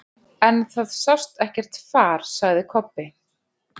En það sást ekkert far, sagði Kobbi.